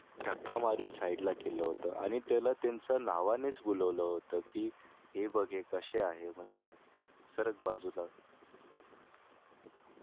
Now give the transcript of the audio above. धक्का मारून side ला केल होत आणि त्यांना त्यांच्या नावानेच बोलवलं होतं की हे बघ हे कसे आहेत म्हणजे खरच बाजूला